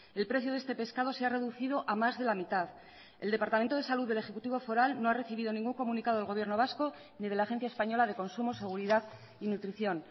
el precio de este pescado se ha reducido a más de la mitad el departamento de salud del ejecutivo foral no ha recibido ningún comunicado del gobierno vasco ni de la agencia española de consumos seguridad y nutrición